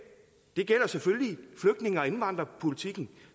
det gælder selvfølgelig flygtninge og indvandrerpolitikken